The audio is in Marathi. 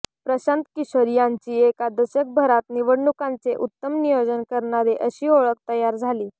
प्रशांत किशोर यांची एका दशकभरात निवडणुकांचे उत्तम नियोजन करणारे अशी ओळख तयार झाली